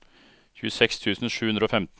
tjueseks tusen sju hundre og femten